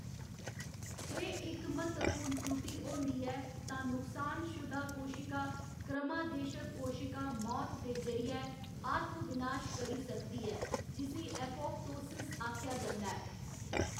जे इक म्हत्तवपूर्ण त्रुटि होंदी ऐ, तां नुक्सानशुदा कोशिका क्रमादेशत कोशिका मौत दे जरियै आत्म विनाश करी सकदी ऐ, जिस्सी एपोप्टो सिस आखेआ जंदा ऐ।